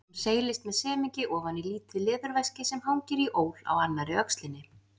Hún seilist með semingi ofan í lítið leðurveski sem hangir í ól á annarri öxlinni.